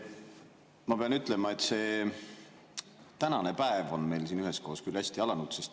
Ma pean ütlema, et see tänane päev on meil siin üheskoos küll hästi alanud.